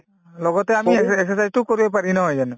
লগতে আমি exercise exercise তো কৰিব পাৰি নহয় জানো